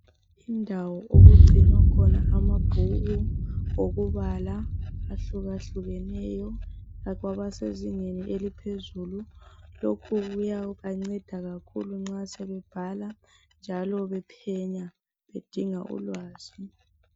Indawo okugcinwa khona amabhuku okubala ahlukahlukeneyo kwabasezingeni eliphezulu lokhu kuya banceda kakhulu nxa sebebhala njalo bephenya bedinga ulwazi.